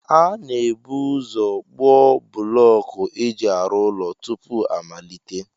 A na-ebu ụzọ kpụọ bụlọọkụ e ji arụ ụlọ tupu a malite